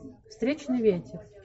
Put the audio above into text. встречный ветер